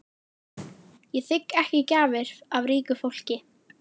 Ég þigg ekki gjafir af ríku fólki.